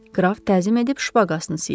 Qraf təzim edib şpaqasını siyirdi.